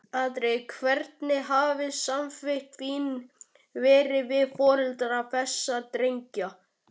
Andri: Hvernig hafa samskipti þín verið við foreldra þessara drengja?